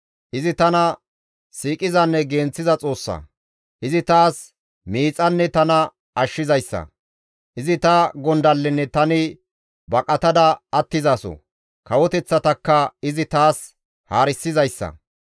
Izi tana siiqizanne genththiza Xoossa; izi taas miixanne tana ashshizayssa; izi ta gondallenne tani baqatada attizaso; kawoteththatakka izi taas haarisizayssa.